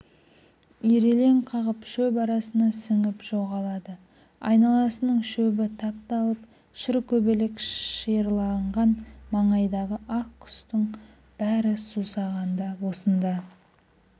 ирелең қағып шөп арасына сіңіп жоғалады айналасының шөбі тапталып шыркөбелек шиырланған маңайдағы аң-құстың бәрі сусағанда осында